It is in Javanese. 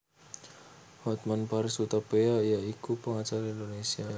Hotman Paris Hutapea ya iku pengacara Indonesia